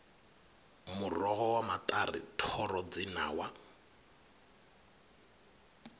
muroho wa maṱari thoro dzinawa